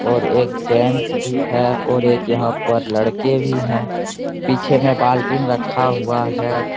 और एक जेन्स भी है और एक यहाँ पर लड़के भी है पीछे में बाल्टीन में रक्खा हुआ है।